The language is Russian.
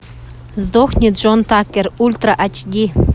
сдохни джон такер ультра ач ди